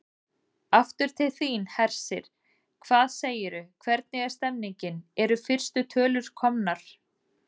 Aftur til þín, Hersir, hvað segirðu, hvernig er stemningin, eru fyrstu tölur komnar?